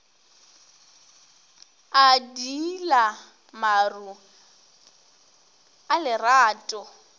a diila maru a lerato